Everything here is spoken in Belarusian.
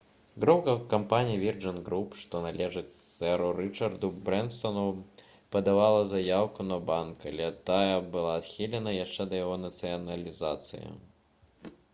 група кампаній «вірджын груп» што належыць сэру рычарду брэнсану падавала заяўку на банк але тая была адхілена яшчэ да яго нацыяналізацыі